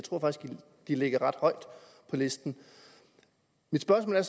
de ligger ret højt på listen mit spørgsmål